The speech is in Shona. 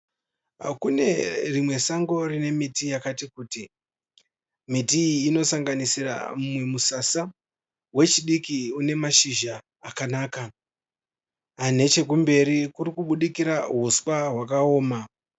Kune rimwe sango rine miti yakati kuti miti iyi inosaganisira mumwe musasa wechidiki une mashizha akanaka nechekumberi kuri kubudikira huswa hwakaoma.